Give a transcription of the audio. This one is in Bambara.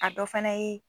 A dɔ fana ye